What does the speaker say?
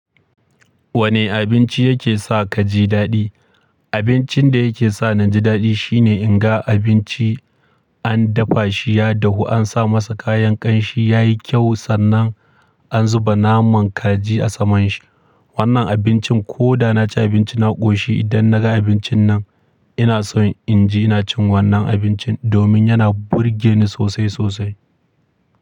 Wane abinci yake sa kaji daɗi? Abincin da yake sa na ji daɗi shine in ga abinci an dafa shi, ya dahu, an sa masa kayan ƙanshi, ya yi kyau sannan an zuba naman kaji a saman shi. Wannan abincin ko da na ci abinci na ƙoshi, idan na ga abincin nan ina so in ji ina cin wannan abincin domin yana burge ni sosai sosai.